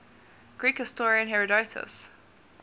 greek historian herodotus